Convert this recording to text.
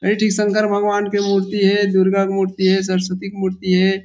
एक ठी शंकर भगवान के मूर्ति हे दुर्गा के मूर्ति हे सरस्वती मूर्ति हे।